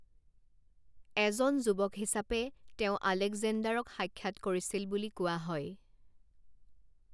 এজন যুৱক হিচাপে তেওঁ আলেকজেণ্ডাৰক সাক্ষাৎ কৰিছিল বুলি কোৱা হয়।